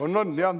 On-on, jah.